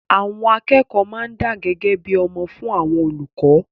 Àwọn akẹ́kọ̀ọ́ máa ń dá gẹ́gẹ́ bí ọmọ fún àwọn olùkọ́